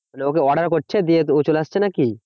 ওকে order করছে দিয়ে ও চলে আসছে নাকি?